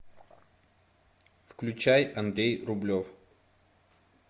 включай андрей рублев